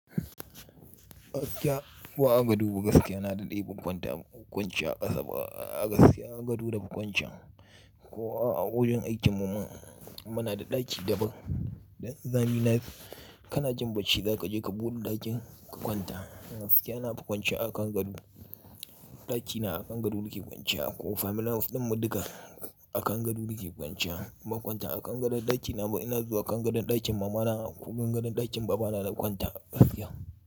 Gaskiya, ko agado gaskiya na daɗe ya kwanta, ya kwance a ƙasa ba a gaskiya a gado da kwancan. Ko a wajen aikin mu mana da ɗaki daban. Dan zani na yi, kana jin bacci za ka je ka buɗe ɗakin ka kwanta. Gaskiya na fi kwance a kan gado. Ɗaki na a kan gado nake kwance. Ko family house ɗin mu duka a kan gado nake kwance. Inban kwanta a kan gadon ɗaki na ba ina zuwa a kan gadon ɗakin mama na ko gadon ɗakin baba na da kwanta gaskiya.